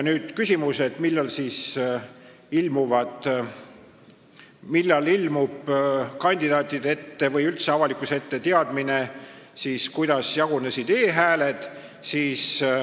Nüüd küsimus, millal siis ilmub kandidaatide või üldse avalikkuse ette teadmine, kuidas jagunesid e-hääled.